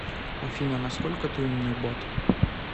афина насколько ты умный бот